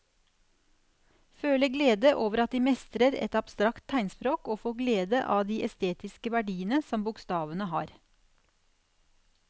Føle glede over at de mestrer et abstrakt tegnspråk og få glede av de estetiske verdiene som bokstavene har.